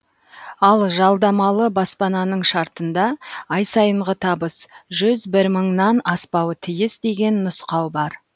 ал жалдамалы баспананың шартында ай сайынғы табыс жүз бір мыңнан аспауы тиіс деген нұсқау бар